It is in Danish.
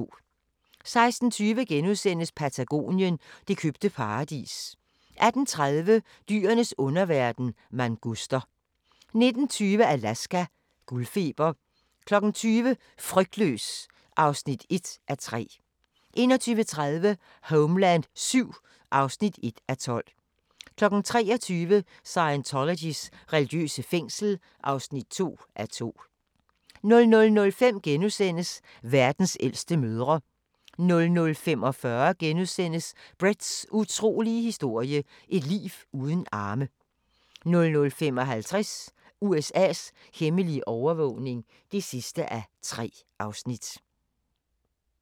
16:20: Patagonien – det købte paradis * 18:30: Dyrenes underverden – manguster 19:20: Alaska – guldfeber 20:00: Frygtløs (1:3) 21:30: Homeland VII (1:12) 23:00: Scientologys religiøse fængsel (2:2) 00:05: Verdens ældste mødre * 00:45: Bretts utrolige historie – et liv uden arme * 00:55: USA's hemmelige overvågning (3:3)